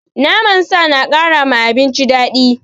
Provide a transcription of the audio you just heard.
Naman sa na kara ma abinci daɗi.